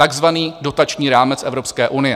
Takzvaný dotační rámec Evropské unie.